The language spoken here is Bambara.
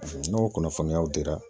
n'o kunnafoniyaw dira